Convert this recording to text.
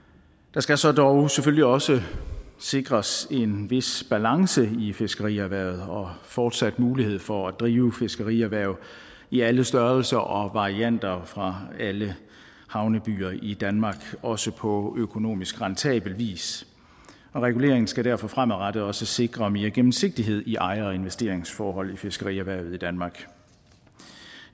der skal så dog selvfølgelig også sikres en vis balance i fiskerierhvervet og fortsat mulighed for at drive fiskerierhverv i alle størrelser og varianter fra alle havnebyer i danmark også på økonomisk rentabel vis og reguleringen skal derfor fremadrettet også sikre mere gennemsigtighed i ejer og investeringsforhold i fiskerierhvervet i danmark